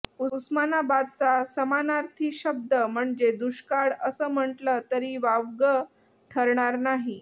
उस्मानाबादचा समानार्थी शब्द म्हणजे दुष्काळ असं म्हटलं तरी वावगं ठरणार नाही